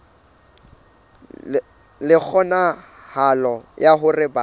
le kgonahalo ya hore batho